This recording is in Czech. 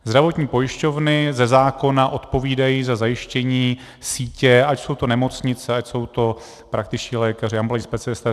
Zdravotní pojišťovny ze zákona odpovídají za zajištění sítě, ať jsou to nemocnice, ať jsou to praktičtí lékaři, ambulantní specialisté.